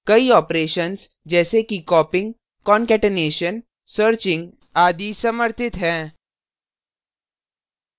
कई operations जैसे कि copying concatenation searching आदि समर्थित हैं